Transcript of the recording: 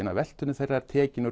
af veltu þeirra er tekinn